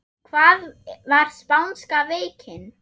Hvað var spánska veikin?